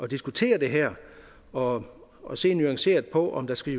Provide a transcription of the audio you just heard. diskutere det her og og se nuanceret på om der skal